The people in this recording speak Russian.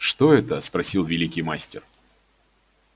что это спросил великий мастер